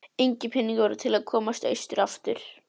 Engir peningar voru til að komast austur aftur.